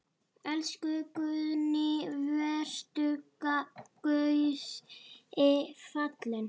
Elsku Guðný, vertu Guði falin.